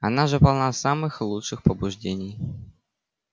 она же полна самых лучших побуждений